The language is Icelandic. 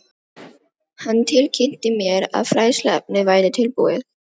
Hann tilkynnti mér, að fræðsluefnið væri tilbúið